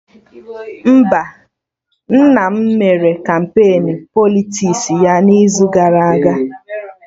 Mba, nna m mere kampain Politiks ya n'izu gara aga